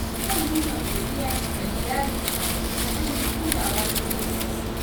Zan nuna godiya ga iyalina ta hanyar kulawa da su yau.